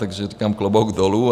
Takže říkám - klobouk dolů.